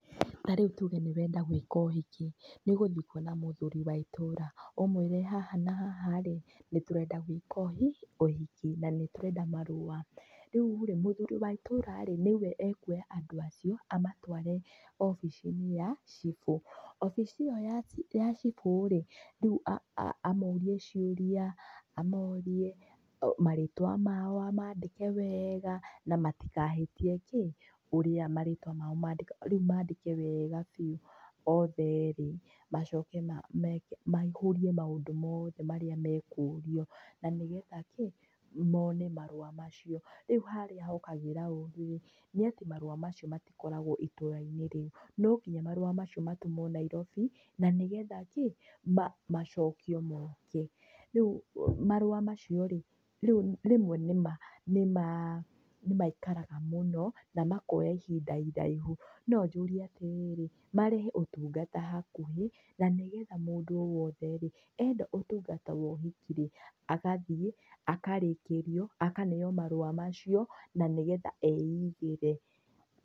Na rĩu tuge nĩũrenda gwĩka ũhiki, nĩũgũthiĩ kuona mũthuri wa itũra, ũmwĩre haha na haha rĩ, nĩtũrenda gwĩka ũhi, ũhiki, na nĩtũrenda marũa, rĩurĩ, mũthuri wa itũra nĩwe akuoya andũ acio, amatware abici-inĩ ya, cibũ, aici-inĩ ĩyo ya, ya cibũ rĩ, rĩu [[aaah] amũrie ciũria, amũrie, marĩtwa mao amandĩke wega, na matikahĩtie kĩ, ũrĩa marĩtwa mao mandĩka rĩu mandĩke wega biũ othe erĩ, macoke meke me, maihũrie maũndũ mao mothe marĩa mekũrio, nanĩgetha kĩ, mone marũa macio, rĩu harĩa hokagĩra ũru rĩ, nĩatĩ marũa macio matikoragwo itũra-inĩ rĩu, nonginya marũa macio matũmwo Nairobi, nanĩgetha kĩ, ma macokio moke, rĩu ma, marũa macio rĩ, rĩu nĩma, nĩma, nĩmaikaraga mũno, namakoya ihinda iraihu, no njũrie atĩrĩrĩ, marehe ũtungata hakuhĩ, nanĩgetha mũndũ o wothe rĩ, enda ũtungata wa ũhiki rĩ, agathiĩ, akarĩkĩrio, akaneo marũa macio, na nĩgetha eigĩre.